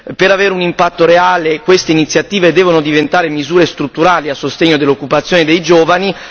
Per avere un impatto reale, queste iniziative devono diventare misure strutturali a sostegno dell'occupazione dei giovani.